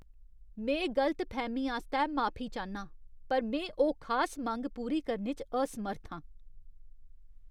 में गलतफैह्मी आस्तै माफी चाह्न्नां, पर में ओह् खास मंग पूरी करने च असमर्थ आं।